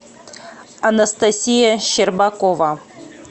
анастасия щербакова